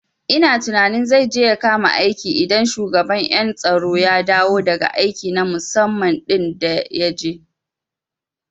Ina tunanin zai je ya kama aiki idan shugaban ƴan tsaro ya dawo daga aiki na musamman ɗin da yaje